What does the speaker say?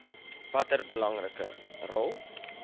watter belangrike rol